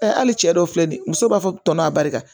hali cɛ dɔw filɛ nin ye muso b'a fɔ tɔnɔ barika